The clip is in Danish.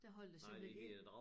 Der holdt jeg simpelthen ind